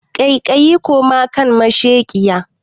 Kaiƙayi koma kan masheƙiya